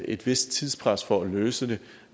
et vist tidspres for at løse det